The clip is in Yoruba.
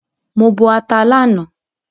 Mo bọ ata lánàá